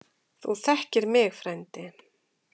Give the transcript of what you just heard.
Þú þekkir mig frændi.